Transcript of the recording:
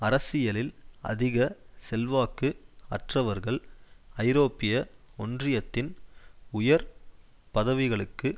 அரசியலில் அதிக செல்வாக்கு அற்றவர்கள் ஐரோப்பிய ஒன்றியத்தின் உயர் பதவிகளுக்கு